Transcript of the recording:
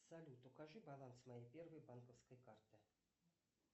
салют укажи баланс моей первой банковской карты